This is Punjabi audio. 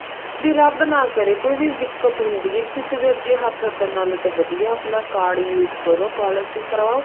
ਵੀ ਰੱਬ ਨਾ ਕਰੇ ਕੋਈ ਵੀ ਦਿੱਕਤ ਹੁੰਦੀ ਹੈ ਕਿਸੇ ਦੇ ਅੱਗੇ ਹੱਥ ਅੱਡਣ ਨਾਲੋਂ ਤਾਂ ਵਧੀਆ ਆਪਣਾ card use ਕਰੋ policy ਕਰਾਓ